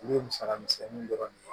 U ye musaka misɛnninw dɔrɔn